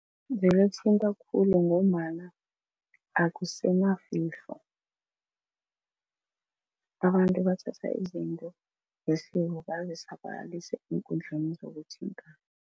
Vele kuthinta khulu ngombana akusenafihlo abantu bathatha izinto zesiko bazisabalalise eenkundleni zokuthintana.